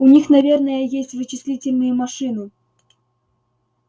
у них наверное есть вычислительные машины